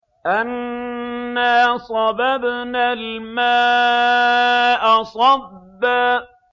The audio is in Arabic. أَنَّا صَبَبْنَا الْمَاءَ صَبًّا